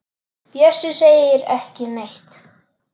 Bjössi segir ekki neitt.